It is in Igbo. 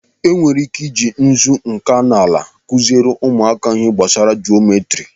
E nwere ike i ji nzu nkanala kụziere ụmụaka ihe gbasara jometri.